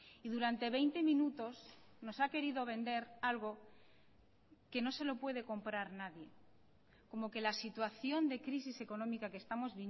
y durante veinte minutos nos ha querido vender algo que no se lo puede comprar nadie como que la situación de crisis económica que estamos